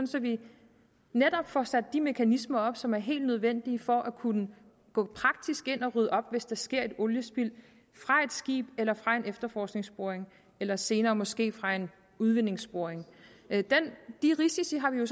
så vi netop får sat de mekanismer op som er helt nødvendige for at kunne gå praktisk ind og rydde op hvis der sker et oliespild fra et skib eller fra en efterforskningsboring eller senere måske fra en udvindingsboring de risici har vi jo